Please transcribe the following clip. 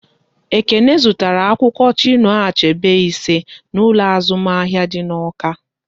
Ekene zụtara akwụkwọ Chinua Achebe ise n'ụlọ azụmahịa dị n'Awka